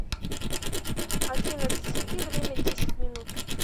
афина засеки время десять минут